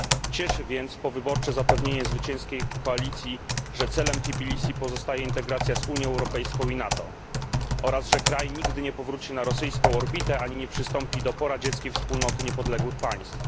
Cieszy więc powyborcze zapewnienie zwycięskiej koalicji, że celem Tbilisi pozostaje integracja z Unią Europejską i NATO oraz że kraj nigdy nie powróci na rosyjską orbitę ani nie przystąpi do poradzieckiej Wspólnoty Niepodległych Państw.